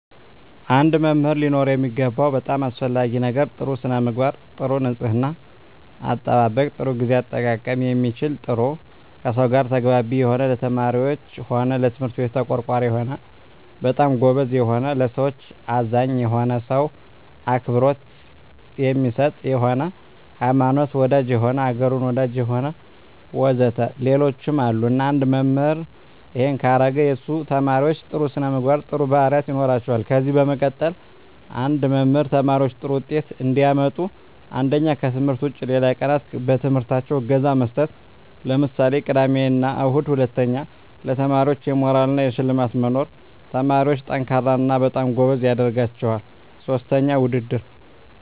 አንድ መምህር ሊኖረው የሚገባው በጣም አሰፈላጊ ነገር ጥሩ ስነምግባር ጥሩ ንጽሕና አጠባበቅ ጥሩ ግዜ አጠቃቀም የሚችል ጥሩ ከሰው ጋር ተግባቢ የሆነ ለተማሪዎች ሆነ ለትምህርት ቤቱ ተቆርቋሪ የሆነ በጣም ጎበዝ የሆነ ለሠዎች አዛኝ የሆነ ሰው አክብሮት የሚሰጥ የሆነ ሀይማኖት ወዳጅ የሆነ አገሩን ወዳጅ የሆነ ወዘተ ሌሎችም አሉ እና አንድ መምህራን እሄን ካረገ የሱ ተመራማሪዎች ጥሩ ስነምግባር ጥሩ ባህሪያት ይኖራቸዋል ከዚ በመቀጠል አንድ መምህር ተማሪዎች ጥሩ ውጤት እንዲያመጡ አንደኛ ከትምህርት ውጭ ሌላ ቀናት በትምህርታቸው እገዛ መስጠት ለምሳሌ ቅዳሜ እሁድ ሁለተኛ ለተማሪዎች የሞራል እና የሽልማት መኖር ተማሪዎች &ጠንካራ እና በጣም ጎበዝ ያደረጋቸዋል ሥስተኛ ውድድር